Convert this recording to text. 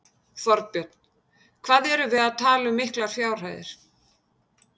Þorbjörn: Hvað erum við að tala um miklar fjárhæðir?